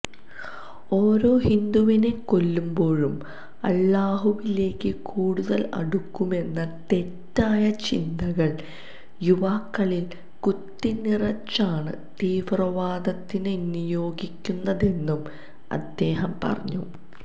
ഓരോ ഹിന്ദുവിനെ കൊല്ലുമ്പോഴും അല്ലാഹുവിലേക്ക് കൂടുതല് അടുക്കുമെന്ന തെറ്റായ ചിന്തകള് യുവാക്കളില് കുത്തിനിറച്ചാണ് തീവ്രവാദത്തിന് നിയോഗിക്കുന്നതെന്നും അദ്ദേഹം പറഞ്ഞു